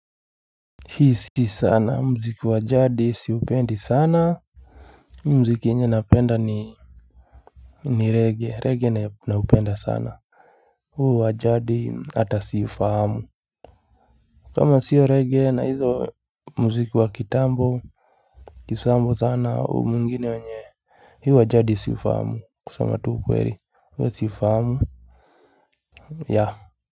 Hi si sana. Muziki wa jadi siupendi sana. Muziki yenye napenda ni ni reggae. Reggae naupenda sana huu wa jadi hata siufahamu kama sio reggae na hizo muziki wa kitambo kitambo sana huu mwingine wenye huu wa jadi siufahamu kusema tu ukweli. Huu siufahamu yeah.